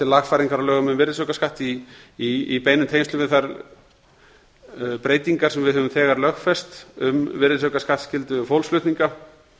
lagfæringar á lögum um virðisaukaskatt í beinum tengslum við þær breytingar sem við höfum þegar lögfest um virðisaukaskattsskyldu fólksflutninga